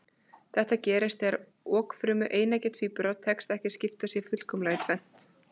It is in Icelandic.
Þetta gerist þegar okfrumu eineggja tvíbura tekst ekki að skipta sér fullkomlega í tvennt.